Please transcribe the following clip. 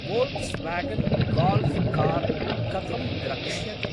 Volkswagen Golf car कथं द्रक्ष्यते?